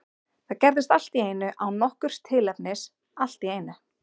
Það gerðist allt í einu, án nokkurs tilefnis, allt í einu.